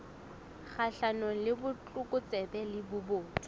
kgahlanong le botlokotsebe le bobodu